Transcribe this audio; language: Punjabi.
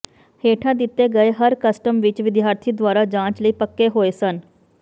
ਹੇਠਾਂ ਦਿੱਤੇ ਗਏ ਹਰ ਕਸਟਮ ਵਿੱਚ ਵਿਦਿਆਰਥੀ ਦੁਆਰਾ ਜਾਂਚ ਲਈ ਪੱਕੇ ਹੋਏ ਹਨ